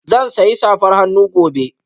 Zan sayi safar hannu gobe